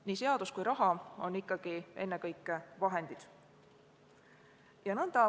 Nii seadus kui ka raha on ennekõike vahendid.